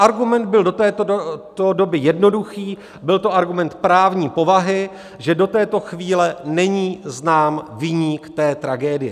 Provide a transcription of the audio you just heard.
Argument byl do této doby jednoduchý, byl to argument právní povahy, že do této chvíle není znám viník té tragédie.